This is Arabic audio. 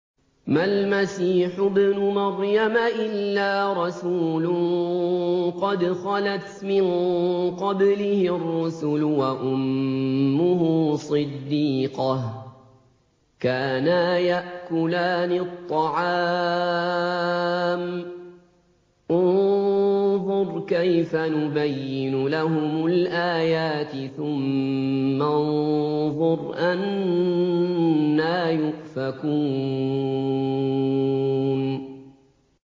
مَّا الْمَسِيحُ ابْنُ مَرْيَمَ إِلَّا رَسُولٌ قَدْ خَلَتْ مِن قَبْلِهِ الرُّسُلُ وَأُمُّهُ صِدِّيقَةٌ ۖ كَانَا يَأْكُلَانِ الطَّعَامَ ۗ انظُرْ كَيْفَ نُبَيِّنُ لَهُمُ الْآيَاتِ ثُمَّ انظُرْ أَنَّىٰ يُؤْفَكُونَ